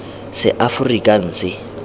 seaforikanse